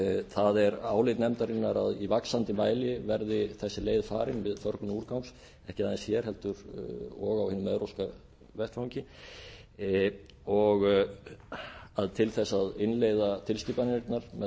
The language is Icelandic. það er álit nefndarinnar að í vaxandi mæli verði þessi leið farin við förgun úrgangs ekki aðeins hér heldur og á hinum evrópska vettvangi og að til þess að innleiða tilskipanirnar með